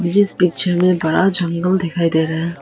इस पिक्चर मे बड़ा जंगल दिखाई दे रहा है।